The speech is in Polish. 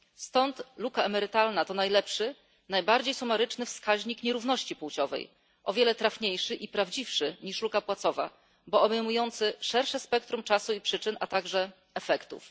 Stąd luka emerytalna to najlepszy, najbardziej sumaryczny wskaźnik nierówności płciowej o wiele trafniejszy i prawdziwszy niż luka płacowa, bo obejmujący szersze spektrum czasu i przyczyn, a także efektów.